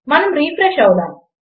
మనం రిఫ్రెష్ అవుదాము